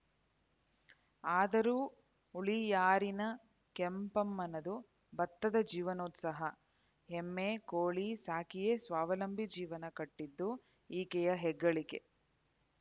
ಆದರೂ ಹುಳಿಯಾರಿನ ಕೆಂಪಮ್ಮನದು ಬತ್ತದ ಜೀವನೋತ್ಸಹ ಎಮ್ಮೆ ಕೋಳಿ ಸಾಕಿಯೇ ಸ್ವಾವಲಂಬಿ ಜೀವನ ಕಟ್ಟಿದ್ದು ಈಕೆಯ ಹೆಗ್ಗಳಿಕೆ